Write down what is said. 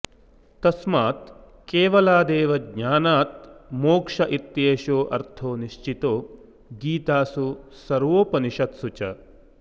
तस्मात् केवलादेव ज्ञानात् मोक्ष इत्येषोऽर्थो निश्चितो गीतासु सर्वोपनिषत्सु च